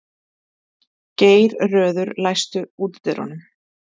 Geirröður, læstu útidyrunum.